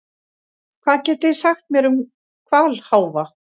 Hvað getið þið sagt mér um hvalháfa?